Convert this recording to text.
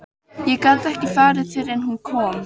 Ég gat ekki farið fyrr en hún kom.